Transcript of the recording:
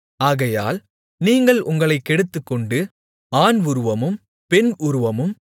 ஆகையால் நீங்கள் உங்களைக் கெடுத்துக்கொண்டு ஆண் உருவமும் பெண் உருவமும்